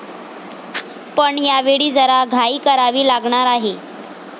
पण यावेळी जरा घाई करावी लागणार आहे.